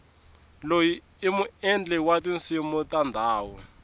loyi i muendli wa tinsimu ta ndhuma